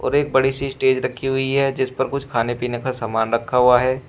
और एक बड़ी सी स्टेज रखी हुई है जिस पर कुछ खाने पीने का सामान रखा हुआ है।